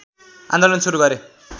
आन्दोलन सुरु गरे